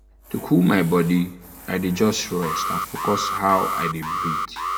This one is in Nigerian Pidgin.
to cool my body i dey just rest and focus how i dey breathe.